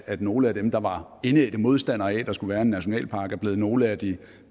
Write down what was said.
at nogle af dem der var indædte modstandere af at der skulle være en nationalpark er blevet nogle af de